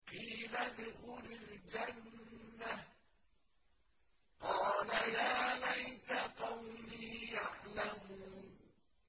قِيلَ ادْخُلِ الْجَنَّةَ ۖ قَالَ يَا لَيْتَ قَوْمِي يَعْلَمُونَ